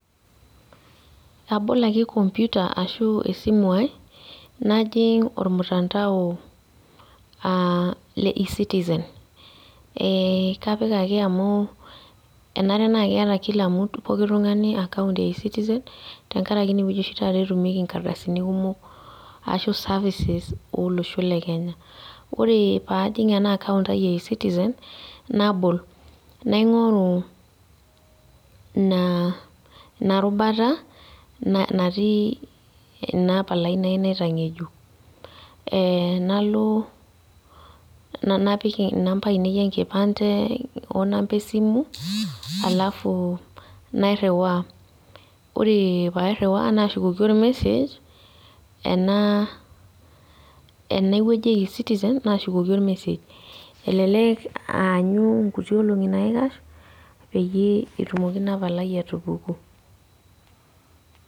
Abol ake kompyuta ashu esimu ai najing ormutandao aa e -citizen eh kapik ake amu enare naa keeta kila mtu poki tung'ani account eh e citizen tenkaraki ineweuji oshi taata etumieki kardasini kumok arashu services olosho le kenya ore paa ajing ena account ai eh e citizen naabol naingoru naa inarubata natii inapalai nayieu naitangejuk eh nalo napik namba ainei ekipande oo namba esimu alafu nairiiwa ore paairiwa naashukoki or message ena ene wueji eh e citizen nashukukoki or message elelek aanyu kuti olongi naikash peyie etumoki ina palai atupuku .